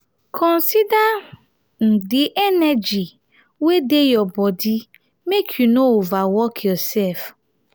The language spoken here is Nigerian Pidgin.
consider um di energy wey dey your body make you no overwork yourself